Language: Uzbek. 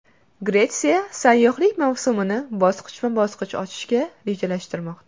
Gretsiya sayyohlik mavsumini bosqichma-bosqich ochishni rejalashtirmoqda.